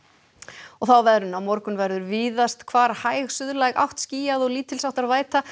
og þá að veðri á morgun verður víðast hvar hæg átt skýjað og lítils háttar væta